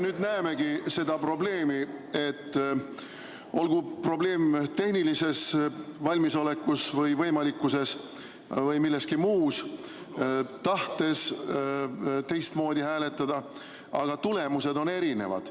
Nüüd me näemegi seda, et olgu probleem tehnilises valmisolekus või milleski muus, kui tahad teistmoodi hääletada, siis tulemused on erinevad.